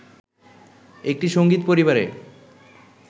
একটি সংগীত পরিবারে